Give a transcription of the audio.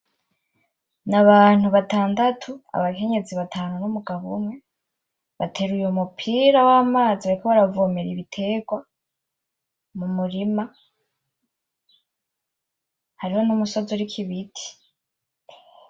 Nabantu batandatu, abakenyezi batanu n'umugabo umwe, bateruye umupira w'amazi bariko baravomera ibitegwa mu murima. Hariho n'umusozi uriko ibiti.